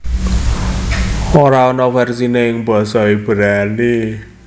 Ora ana versiné ing basa Ibrani